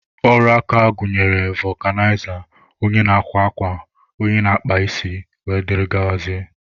Ọrụ aka gụnyere fọkụnaiza, onye na-akwa akwa, onye na-akpa isi wdg.